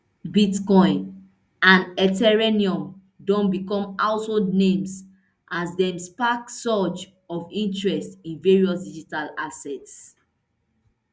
bitcoin and ethereum don become household names as dem spark surge of interest in various digital assets